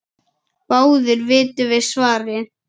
Báðir vitum við svarið